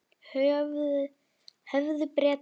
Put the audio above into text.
Höfðu Bretar eftir